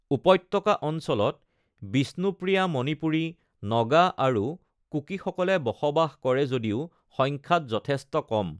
উপত্যকা অঞ্চলত বিষ্ণুপ্ৰিয়া মণিপুৰী, নগা আৰু কুকিসকলে বসবাস কৰে যদিও সংখ্যাত যথেষ্ট কম।